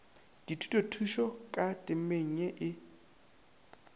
dithušothuto ka temeng ye e